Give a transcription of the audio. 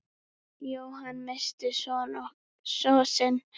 Jóhann missti son sinn.